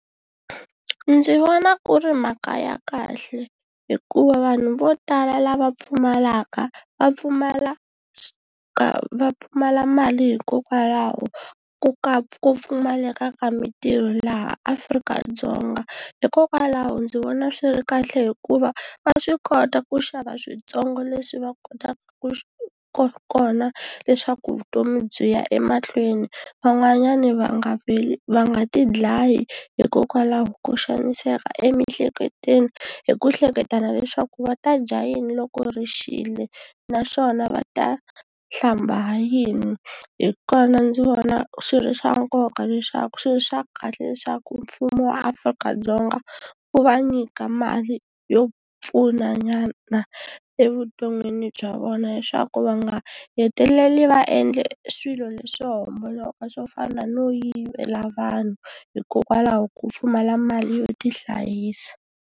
Ndzi vona ku ri mhaka ya kahle hikuva vanhu vo tala lava pfumalaka va pfumala ka va pfumala mali hikokwalaho ko ka ku pfumaleka ka mitirho laha Afrika-Dzonga. Hikokwalaho ndzi vona swi ri kahle hikuva va swi kota ku xava switsongo leswi va kotaka ku kona leswaku vutomi byi ya emahlweni, van'wanyani va nga vi va nga tidlayi hikokwalaho ko xaniseka emiehleketweni hi ku hleketa leswaku va ta dya yini loko ri xile naswona va ta hlamba yini. Hi kona ndzi vona swi ri swa nkoka leswaku swi ri swa kahle leswaku mfumo wa Afrika-Dzonga wu va nyika mali yo pfunanyana evuton'wini bya vona leswaku va nga heteleli va endle swilo leswo homboloka swo fana no yivela vanhu hikokwalaho ko pfumala mali yo tihlayisa.